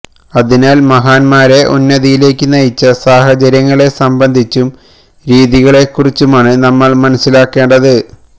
അതിനാൽ മഹാന്മാരെ ഉന്നതിയിലേയ്ക്ക് നയിച്ച സാഹചര്യങ്ങളെ സംബന്ധിച്ചും രീതികളെ കുറിച്ചുമാണ് നമ്മൾ മനസ്സിലാക്കേണ്ടത്